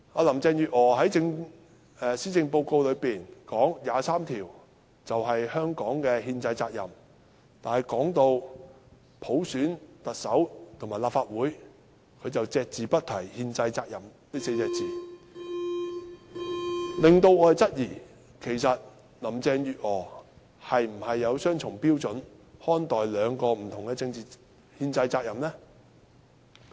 林鄭月娥在施政報告中表示，就《基本法》第二十三條立法，是香港的憲制責任，但說到普選特首和立法會時，卻隻字不提"憲制責任"這4個字，令我們質疑，其實林鄭月娥是否以雙重標準來看待兩項不同的憲制責任？